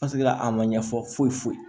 Paseke la a ma ɲɛfɔ foyi foyi ye